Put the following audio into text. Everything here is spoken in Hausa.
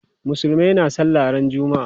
Musulmai na sallah ran juma'a.